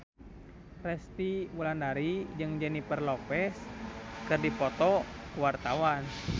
Resty Wulandari jeung Jennifer Lopez keur dipoto ku wartawan